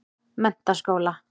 Menntaskóla